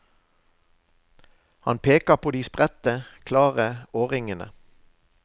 Han peker på de spredte, klare årringene.